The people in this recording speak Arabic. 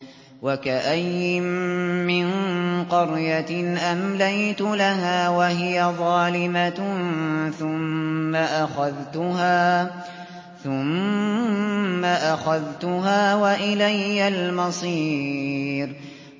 وَكَأَيِّن مِّن قَرْيَةٍ أَمْلَيْتُ لَهَا وَهِيَ ظَالِمَةٌ ثُمَّ أَخَذْتُهَا وَإِلَيَّ الْمَصِيرُ